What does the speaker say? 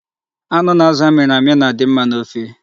Anụ na azụ a mịrị amị na-adị mma n'ofe.